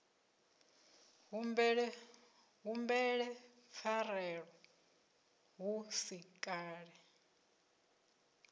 humbele pfarelo hu si kale